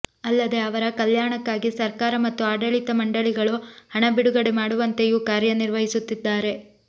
ಅಲ್ಲದೆ ಅವರ ಕಲ್ಯಾಣಕ್ಕಾಗಿ ಸರ್ಕಾರ ಮತ್ತು ಆಡಳಿತ ಮಂಡಳಿಗಳು ಹಣ ಬಿಡುಗಡೆ ಮಾಡುವಂತೆಯೂ ಕಾರ್ಯನಿರ್ವಹಿಸುತ್ತಿದ್ದಾರೆ